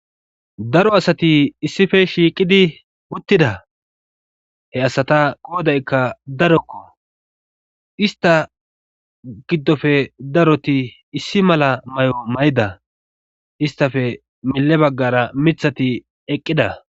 Daro asati issife shiiqidi uttida he asata qoodaykka darokko ista giddofe daroti issi mala may7o may7ida istafe melle baggara mithati eqqida